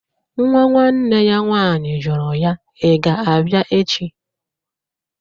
Nwa nwanne ya nwaanyị jụrụ ya, "iga abia echi?"